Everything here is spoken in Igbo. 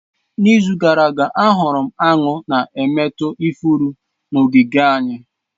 N'izu gara aga ahụrụ m aṅụ na-emetọ ifuru n'ogige anyị